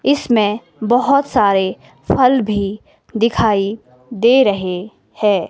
इसमें बहुत सारे फल भी दिखाई दे रहे है।